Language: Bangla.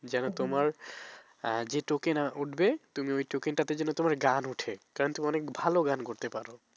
যেন তোমার যে token উঠবে তুমি ওই token টা তে যেন তোমার গান ওঠে কারন তুমি অনেক ভালো গান করতে পারো।